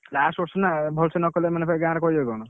Last ବର୍ଷ ନା ଭଲ ସେ ନକଲେ ମାନେ ଗାଁରେ କହିବେ କଣ?